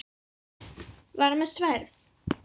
Var hann með sverð?